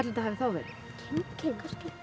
þetta hafi þá verið kind